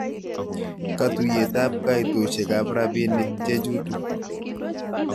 Katuyet ab kaitoshek ab robinik chechutu.